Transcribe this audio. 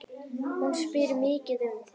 Hún spyr mikið um þig.